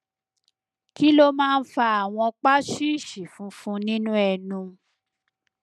kí ló máa ń fa àwọn paṣíìṣì funfun nínú ẹnu